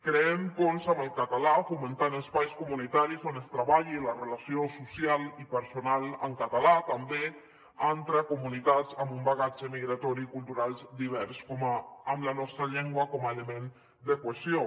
creem ponts amb el català fomentant espais comunitaris on es treballi la relació social i personal en català també entre comunitats amb un bagatge migratori cultural divers amb la nostra llengua com a element de cohesió